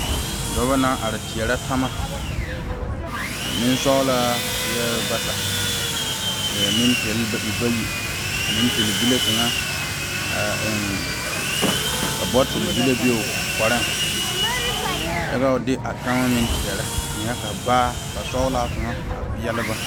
Dɔba naŋ are teɛre tama, nensɔglaa eɛ bata, ka nenpɛɛle e bayi a nenpɛl bile kaŋa botul be o kɔreŋ kyɛ ka de a tama meŋ teɛrɛ ka basɔglaa kaŋa a are peɛle ba.